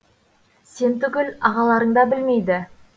сен түгіл ағаларың да білмейді